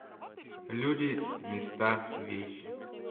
люди места вещи